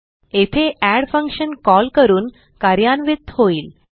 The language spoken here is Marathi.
येथे एड फंक्शन कॉल करून कार्यान्वित होईल